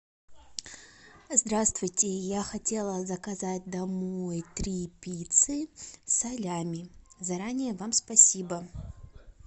здравствуйте я хотела заказать домой три пиццы салями заранее вам спасибо